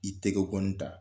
I tɛgɛ kɔni ta.